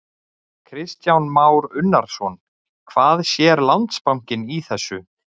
Kristján Már Unnarsson: Hvað sér Landsbankinn í þessu?